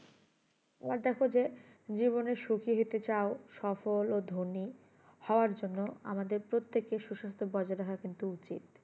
আবার দেখো যে জীবনে সুখী হতেচাও সফল ও ধোনি হওয়ার জন্য আমাদের প্রত্যেকের সুসাস্থ বজায় রাখা কিন্তু উচিত